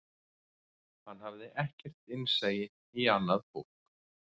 Hann hafði ekkert innsæi í annað fólk